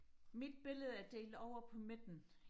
mit billede er delt over på midten